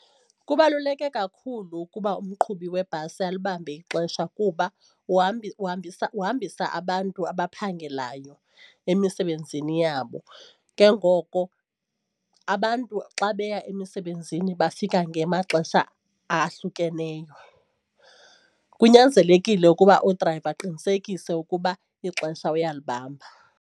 Kubaluleke kakhulu ukuba umqhubi webhasi alibambe ixesha kuba uhambisa uhambisa abantu abaphangelayo emisebenzini yabo. Ke ngoko abantu xa beya emisebenzini bafika ngemaxesha ahlukeneyo. Kunyanzelekile ukuba udrayiva aqinisekise ukuba ixesha uyalibamba.